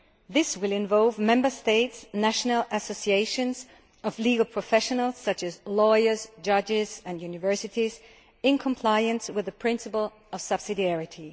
This will involve Member States' national associations of legal professionals, such as lawyers, judges and universities, in compliance with the principle of subsidiarity.